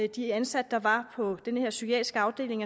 de ansatte der var på den her psykiatriske afdeling